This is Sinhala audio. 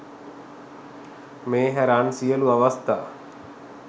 මේ හැර අන් සියලු අවස්ථා